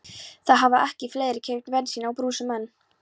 Það hafa ekki fleiri keypt bensín á brúsum en